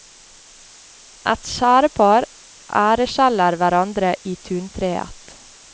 Et skjærepar æreskjeller hverandre i tuntreet.